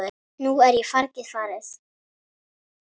Nú er fargið farið.